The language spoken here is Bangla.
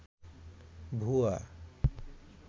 ভূয়া